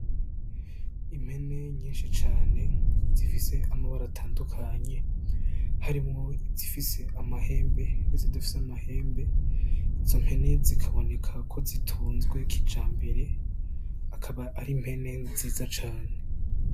Impene nyinshi cane zifise amabara atandukanye harimwo izifise amahembe n'izidafise amahembe. Izo mpene zikaboneka ko zitunzwe kijambere , akaba ari impene nziza cane.